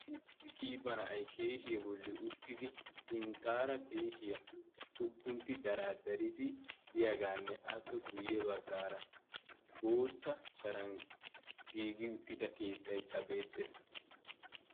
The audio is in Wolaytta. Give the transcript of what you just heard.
Issi qiiba na'ay keeshiyae bolli uttidi sinttaara keeshiyaa xuguntti daraaddaridi diyaagaanne appe guyye baggaara bootta sharan giigi uttida keettaykka beettees.